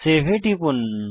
save এ টিপুন